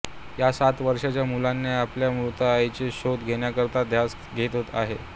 या सात वर्षांच्या मुलाने आपल्या मृत आईचा शोध घेण्याकरिता ध्यास घेत आहे